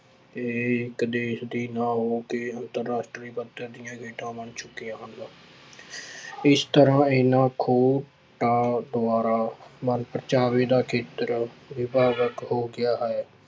ਇਹ ਇੱਕ ਦੇਸ ਦੀ ਨਾ ਹੋ ਕੇ ਅੰਤਰ ਰਾਸ਼ਟਰੀ ਪੱਧਰ ਦੀਆਂ ਖੇਡਾਂ ਬਣ ਚੁੱਕੀਆਂ ਹਨ ਇਸ ਤਰ੍ਹਾਂ ਇਹਨਾਂ ਦੁਆਰਾ ਮਨ ਪ੍ਰਚਾਵੇ ਦਾ ਖੇਤਰ ਹੋ ਗਿਆ ਹੈ।